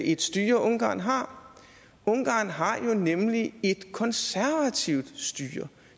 et styre ungarn har ungarn har jo nemlig et konservativt styre